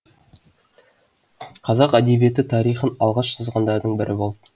қазақ әдебиеті тарихын алғаш жазғандардың бірі болды